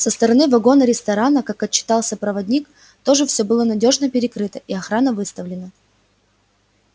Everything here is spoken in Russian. со стороны вагона-ресторана как отчитался проводник тоже всё было надёжно перекрыто и охрана выставлена